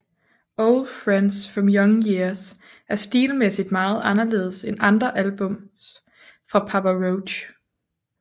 Old Friends From Young Years er stilmæssigt meget anderledes end andre albums fra Papa Roach